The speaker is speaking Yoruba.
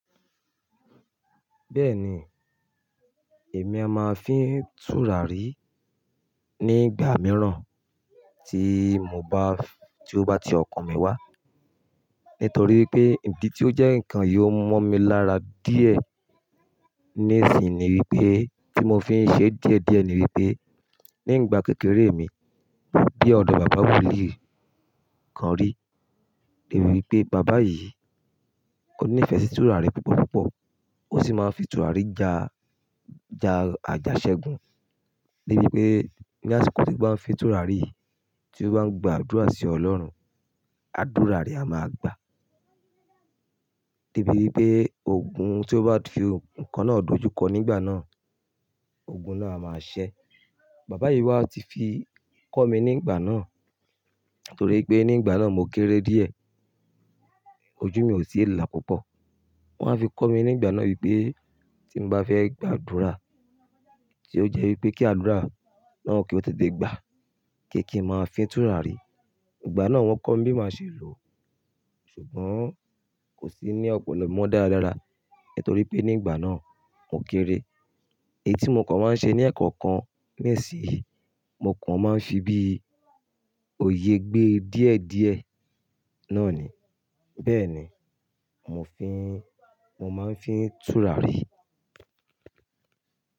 Bẹ́ẹ̀ni, èmi a máa fín tùràrí nígbà mìíràn tí mo bá, tí ó bá ti ọkàn mi wá. Nítorí pé ìdí tí ó jẹ́ nǹkan yìí ó mọ́ mi lára díẹ̀ ní ìsìnyi ni wípé tí mo fi ń ṣe díẹ̀díẹ̀ ni wípqé, nígbà kékeré mi gbe ọ̀dọ́ bàbá wolíì kan rí. Ni wípé baba yìí ó nífẹ̀ẹ́ sí tùràrí púpọ̀púpọ̀. Ó sì máa ń fi tùràrí ja, ja àjàṣẹ́gun. Ni wípé ní àsìkò tí ò bá nfi tùràrí yi, tí ó bá ń gba àdúrà sí Ọlọ́run, àdúrà rẹ a máa gba. De bi wípé ogun tí ó bá fi nǹkan náà dojú kọ nígbà náà, ogun náà a máa ṣẹ́. Bàbá yìí wá ti fi kọ́ mi nígbà náà torí pé nígbà náà mo kéré díẹ̀. Ojú mi ò tí ìà púpọ̀. Wọ́n a fi kọ́ mi nígbà náà wípé tí mo bá fẹ́ gba àdúrà tí ó jẹ́ wípé kí àdúrà náà kí ó tó dé gba pe kí n máa fín tùràrí. Ìgbà náà wọ́n kọ́ mi bí máa ṣe lò ó ṣùgbọ́n kò sí ní ọ̀pọ̀lọ́ mo dára dára nítorí pé nígbà náà mo kéré. Èyí tí mo kàn máa ń ṣe ní ẹ̀ẹ̀kan kan nisinyii, mo kàn máa ń fi bí òye gbé díẹ̀díẹ̀ náà ni. Bẹ́ẹ̀ni, mo fi ń, mo máa ń fín tùràrí.